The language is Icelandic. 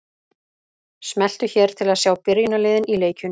Smelltu hér til að sjá byrjunarliðin í leikjunum.